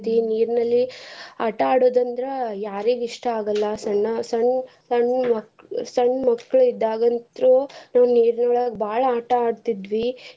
ನೀರಿನಲ್ಲಿ ಆಟ ಆಡೋದಂದ್ರ ಯಾರಿಗ್ ಇಸ್ಟಾ ಆಗಲ್ಲ ಸಣ್ಣ ಸಣ್ಣ್ ಸಣ್ಣ್ ಮಕ~ ಸಣ್ಣ್ ಮಕ್ಳ್ ಇದ್ದಾಗಿಂತ್ರು ನಾವ್ ನೀರಿನೊಳ್ಗ ಬಾಳ್ ಆಟ ಆಡ್ತಿದ್ವಿ.